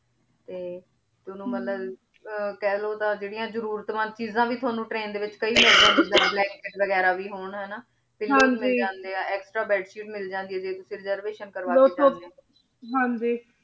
ਤੇ ਤਨੁ ਮਤਲਬ ਕਹ ਲੋ ਤਾਂ ਜੇਰਿਯਾਂ ਜ਼ਰੁਰਤ ਮੰਦ ਚੀਜ਼ਾਂ ਵੀ ਥੁਅਨੁ ਟ੍ਰੈਨ ਦੇ ਵਿਚ ਕਈ ਮਿਲ ਜਾਨ੍ਦਿਯਾ ਜਿਦਾਂ train ਵੇਗਿਰਾ ਵੀ ਹੋਣ ਹਾਨਾ ਹਾਂਜੀ blanket ਮਿਲ ਜਾਂਦੇ ਆ extra bedsheet ਮਿਲ ਜਾਂਦੀ ਆਯ ਜੇ ਤੁਸੀਂ reservation ਕਰਵਾ ਕੇ ਜਾਂਦੇ ਹਾਂਜੀ